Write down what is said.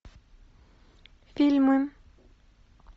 фильмы